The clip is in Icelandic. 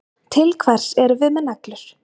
Til hvers erum við með neglur?